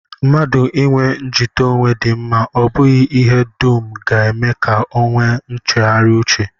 Mmadụ inwe njite onwe dị mma, ọ bụghị ihe dum ga-eme ka ọ nwee nchegharị uche